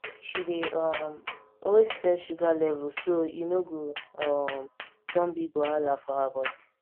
she dey um always test sugar level so e no go um turn big wahala for her body